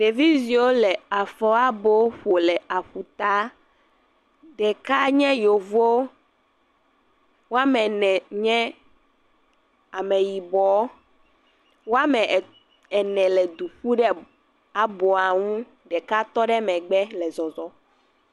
Ɖeviziwo le afɔ abo ƒo le aƒutaa. Ɖeka nye Yevoo, woame ene nye Ameyibɔɔ. Woame en, ene le du ƒu ɖe aboa ŋu. Ɖeka tɔ ɖe megbe le zɔzɔɔ.